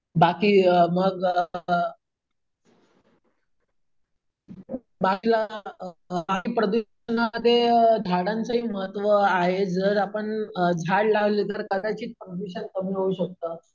बाकी अम मग अम प्रदूषणामध्ये झाडांचेहि महत्व आहे. जर आपण झाड लावले तर प्रदूषण कदाचित कमी होऊ शकतं.